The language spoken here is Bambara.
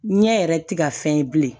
Ɲɛ yɛrɛ ti ka fɛn ye bilen